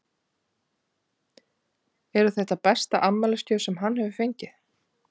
Eru þetta besta afmælisgjöf sem hann hefur fengið?